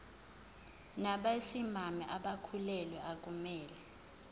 nabesimame abakhulelwe akumele